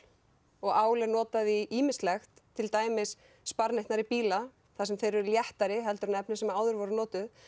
og ál er notað í ýmislegt til dæmis sparneytnari bíla þar sem þeir eru léttari en þau efni sem áður voru notuð